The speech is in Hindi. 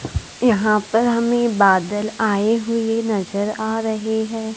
यहां पर हमें बादल आए हुए नजर आ रहे है।